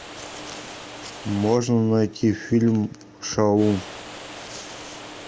можно найти фильм шалун